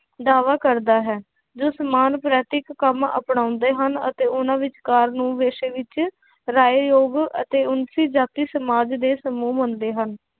ਦਾਵਾ ਕਰਦਾ ਹੈ, ਜੋ ਸਮਾਨ ਕੰਮ ਅਪਣਾਉਂਦੇ ਹਨ, ਅਤੇ ਉਹਨਾਂ ਵਿਚਕਾਰ ਨੂੰ ਪੇਸ਼ੇ ਵਿੱਚ ਰਾਏ ਯੋਗ ਅਤੇ ਉੱਚੀ ਜਾਤੀ ਸਮਾਜ ਦੇ ਸਮੂਹ ਬਣਦੇ ਹਨ।